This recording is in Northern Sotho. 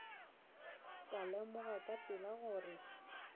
ka lemoga ka pela gore